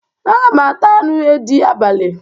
Aga m ata anụ edị abalị.